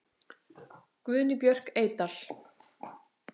Guðný Björk Eydal.